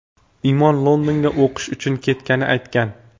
Imon Londonga o‘qish uchun ketganini aytgan.